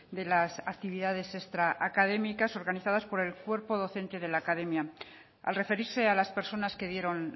de las actividades extracadémicas organizadas por el cuerpo docente de la academia al referirse a las personas que dieron